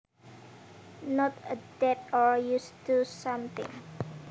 Not adapted or used to something